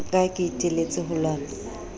ka ke iteletse ho lwana